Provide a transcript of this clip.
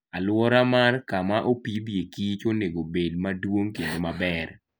Aluora mar kamaopidhe kich onego obed maduong kendo maber